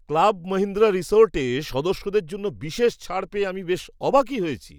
Club Mahindra রিসর্টে সদস্যদের জন্য বিশেষ ছাড় পেয়ে আমি বেশ অবাকই হয়ে গেছি।